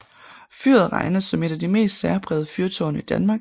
Fyret regnes som ét af de mest særprægede fyrtårne i Danmark